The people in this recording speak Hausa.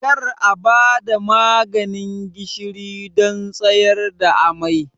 Kar a ba da maganin gishiri don tsayar da amai!